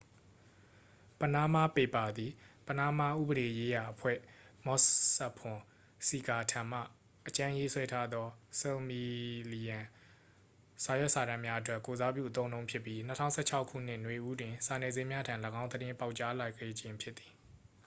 """ပနားမားပေပါ" သည် ပနားမားဥပဒေရေးရာအဖွဲ့ မော့ဆက်ဖွန်ဆီကာထံမှ အကြမ်းရေးဆွဲထားသော ဆယ်မီလီယံစာရွက်စာတမ်းများအတွက် ကိုယ်စားပြုအသုံးအနှုန်းဖြစ်ပြီး ၂၀၁၆ခုနှစ် နွေဦးတွင် စာနယ်ဇင်းများထံ ၎င်းသတင်းပေါက်ကြားလာခဲ့ခြင်းဖြစ်သည်။